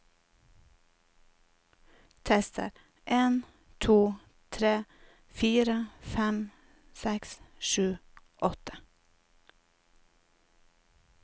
Tester en to tre fire fem seks sju åtte